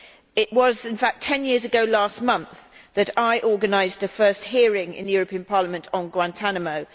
It was in fact ten years ago last month that I organised the first hearing in the European Parliament on Guantánamo